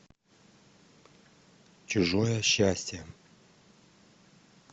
чужое счастье